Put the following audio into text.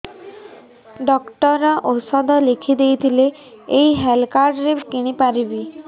doctor ଔଷଧ ଲେଖିଦେଇଥିଲେ ଏଇ ହେଲ୍ଥ କାର୍ଡ ରେ କିଣିପାରିବି